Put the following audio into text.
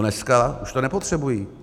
Dneska už to nepotřebují.